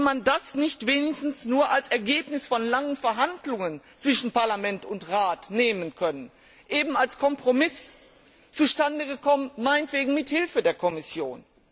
Hätte man das nicht wenigstens nur als Ergebnis von langen Verhandlungen zwischen Parlament und Rat nehmen können, eben als Kompromiss, zustande gekommen meinetwegen mithilfe der Kommission?